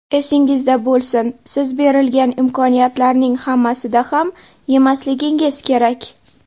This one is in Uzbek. Esingizda bo‘lsin: siz berilgan imkoniyatlarning hammasida ham yemasligingiz kerak.